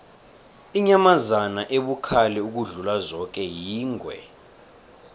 inyamazana ebukhali ukudlula zoke yingwe